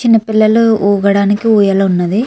చిన్న పిల్లల్లు ఉగడానికి ఉయాల వున్న్నది.